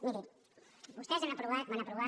miri vostès han aprovat van aprovar